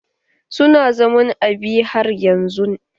Su na zaman Abia har yanzun?